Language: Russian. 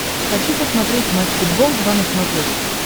хочу посмотреть матч футбол два на смотрешке